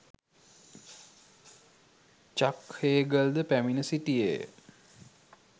චක් Hagel ද පැමිණ සිටියේය.